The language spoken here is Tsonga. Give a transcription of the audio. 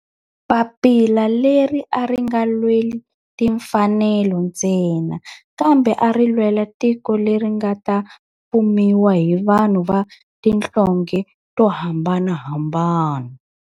Papila leri a ri nga lweli timfanelo ntsena kambe ari lwela tiko leri nga ta fumiwa hi vanhu va tihlonge to hambanahambana.